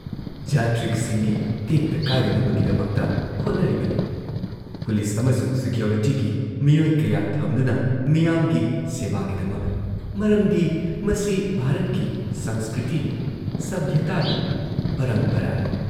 ꯖꯥꯇ꯭ꯔꯤꯛꯁꯤꯡꯒꯤ ꯇꯦꯛꯇ ꯀꯥꯏꯗꯅꯕꯒꯤꯗꯃꯛꯇ ꯍꯣꯠꯅꯔꯤꯕꯅꯤ ꯄꯨꯂꯤꯁ ꯑꯃꯁꯨꯡ ꯁꯤꯀ꯭ꯌꯣꯔꯤꯇꯤꯒꯤ ꯃꯤꯑꯣꯏ ꯀꯌꯥ ꯊꯝꯗꯨꯅ ꯃꯤꯌꯥꯝꯒꯤ ꯁꯦꯕꯥꯒꯤꯗꯃꯛ ꯃꯔꯝꯗꯤ ꯃꯁꯤ ꯚꯥꯔꯠꯀꯤ ꯁꯪꯁꯀ꯭ꯔꯤꯇꯤꯅꯤ, ꯁꯚ꯭ꯌꯇꯥꯅꯤ, ꯄꯔꯝꯄꯔꯥꯅꯤ